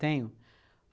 Tenho.